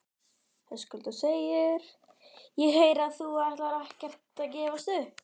Höskuldur: Ég heyri að þú ætlar ekkert að gefast upp?